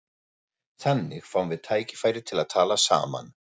Þannig fáum við tækifæri til að tala saman